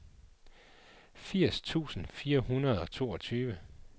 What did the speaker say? firs tusind fire hundrede og toogtyve